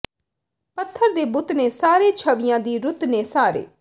ਪੱਥਰ ਦੇ ਬੁੱਤ ਨੇ ਸਾਰੇ ਛਵੀਆਂ ਦੀ ਰੁੱਤ ਨੇ ਸਾਰੇ